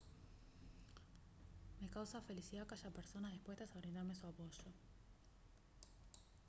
me causa felicidad que haya personas dispuestas a brindarme su apoyo